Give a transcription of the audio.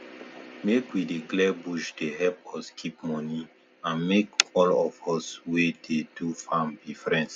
make we dey clear bush dey help us keep money and make all of us wey dey do farm be friends